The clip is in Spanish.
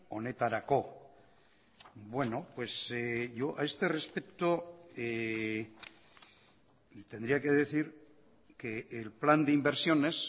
honetarako bueno pues yo a este respecto tendría que decir que el plan de inversiones